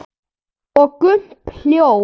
Og Gump hljóp!